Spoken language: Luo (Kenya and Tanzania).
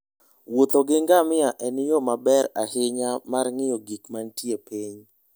Wuotho gi ngamia en yo maber ahinya mar ng'iyo gik manie piny.